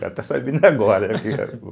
Vai estar sabendo agora.